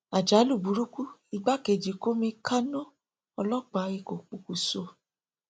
àjálù burúkú igbákejì kọmíkànnà ọlọpàá èkó pokùṣọ